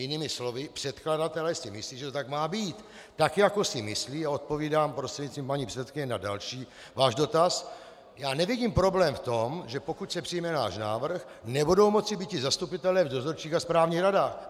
Jinými slovy, předkladatelé si myslí, že to tak má být, tak jako si myslí, a odpovídám prostřednictvím paní předsedkyně na další váš dotaz, já nevidím problém v tom, že pokud se přijme náš návrh, nebudou moci býti zastupitelé v dozorčích a správních radách.